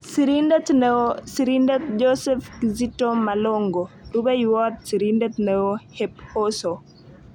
Sirindet neoo-Sirindet Joseph Kizito Malongo. Rupeiywot Sirindet neoo- hephoso